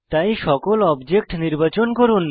তাই সকল অবজেক্ট নির্বাচন করুন